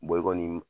i kɔni